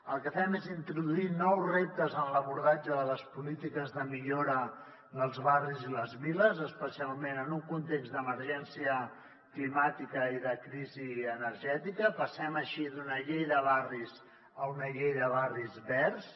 el que fem és introduir nous reptes en l’abordatge de les polítiques de millora dels barris i les viles especialment en un context d’emergència climàtica i de crisi energètica passem així d’una llei de barris a una llei de barris verds